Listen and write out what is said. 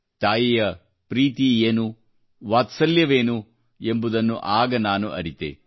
ತಾಯಿಯ ಪ್ರೀತಿ ಏನು ವಾತ್ಸಲ್ಯವೆಂದರೇನು ಎಂಬುದನ್ನ ಆಗ ನಾನು ಅರಿತೆನು